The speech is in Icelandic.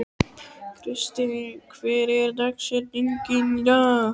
Kristine, hver er dagsetningin í dag?